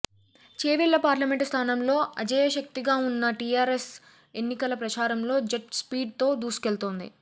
Chevella parliament స్థానంలో అజేయశక్తిగా ఉన్న టీఆర్ఎస్ ఎన్నికల ప్రచారంలో జెట్ స్పీడ్ తో దూసుకెళ్తోంది